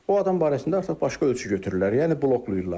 O adam barəsində artıq başqa ölçü götürürlər, yəni bloklayırlar.